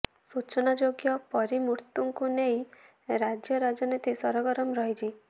ସୂଚନାଯୋଗ୍ୟ ପରୀ ମୃତ୍ୟୁକୁ ନେଇ ରାଜ୍ୟ ରାଜନୀତି ସରଗରମ ରହିଛି